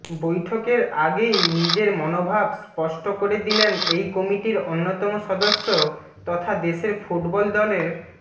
বৈঠকের আগেই নিজের মনোভাব স্পষ্ট করে দিলেন এই কমিটির অন্যতম সদস্য তথা দেশের ফুটবল দলের